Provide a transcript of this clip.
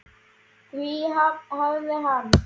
Því hafnaði hann.